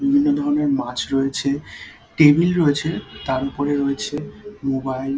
বিভিন্ন ধরনের মাছ রয়েছে টেবিল রয়েছে তার উপরে রয়েছে মোবাইল ।